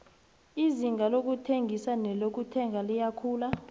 izinga lokuthengisa nelokuthenga liyakhula